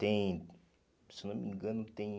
Tem... Se não me engano, tem...